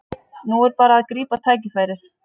Nú er bara að grípa tækifærið